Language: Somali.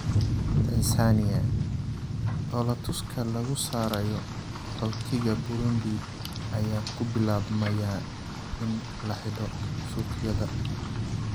Tansaaniya: Dhoolatuska lagu saarayo qaxootiga Burundi ayaa ku bilaabmaya in la xidho suuqyada